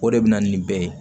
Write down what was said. O de bɛ na ni bɛɛ ye